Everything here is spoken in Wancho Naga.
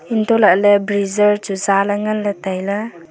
untoh lahley breezer chu zale nganley tailey.